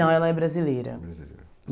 Não, ela é brasileira.